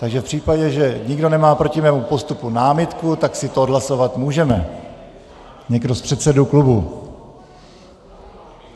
Takže v případě, že nikdo nemá proti mému postupu námitku, tak si to odhlasovat můžeme - nikdo z předsedů klubů.